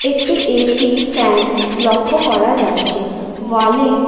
একটি AC fan লক্ষ্য করা যাচ্ছে ওয়ালে--